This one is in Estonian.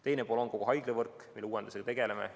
Teine pool on kogu haiglavõrk, mille uuendumisega tegeleme.